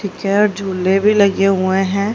Picture झूले भी लगे हुए हैं।